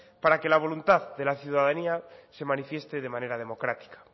para que la voluntad de la ciudadanía se manifieste de manera democrática